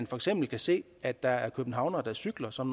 for eksempel kan se at der er københavnere der cykler som